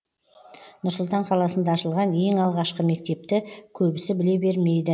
нұр сұлтан қаласында ашылған ең алғашқы мектепті көбісі біле бермейді